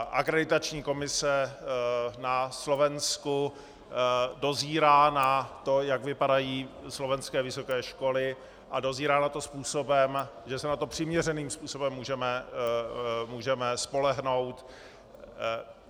Akreditační komise na Slovensku dozírá na to, jak vypadají slovenské vysoké školy, a dozírá na to způsobem, že se na to přiměřeným způsobem můžeme spolehnout.